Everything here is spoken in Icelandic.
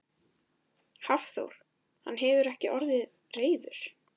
Hafþór: Hann hefur ekki orðið reiður?